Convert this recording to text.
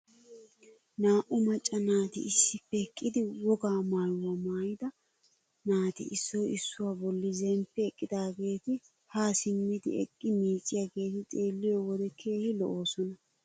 Naa"u macca naati issippe eqqidi wogaa maayuwaa maayida naati issoy issuwaa bolli zemppi eqqidaageti haa simmidi eqqi miicciyaageti xeelliyoo wode keehi lo"oosona!